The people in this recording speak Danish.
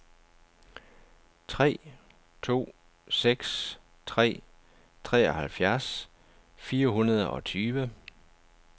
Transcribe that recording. tre to seks tre treoghalvfjerds fire hundrede og tyve